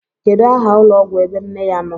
Kedu aha ụlọọgwụ ebe nne ya nọ?